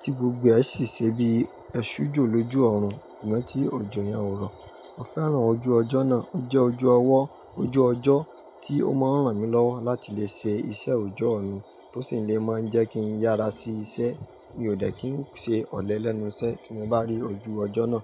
tí gbogbo ẹ sì ṣe bíi ẹ ṣú jọ̀ lójú òòrùn kàn tí òjò yẹn ò rọ̀. Mo fẹ́ràn ojú ọjọ́ náà. Ó jẹ́ ojú ọwọ́, ojú ọjọ́ tí ó máa ń ràn mí lọ́wọ́ láti lè ṣe iṣẹ́ òjọ́ mi tó sì lè máa ń jẹ́ kí n yára sí iṣẹ́. Mi ò dẹ́ kí n ṣe ọ̀lẹ lẹ́nuṣẹ tí mo bá rí ojú ọjọ́ náà.